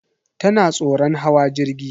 Tana tsoron hawa jirgi.